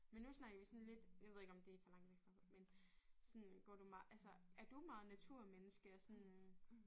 Men nu snakker vi sådan lidt jeg ved ikke om det for langt væk fra men sådan går du altså er du meget naturmenneske og sådan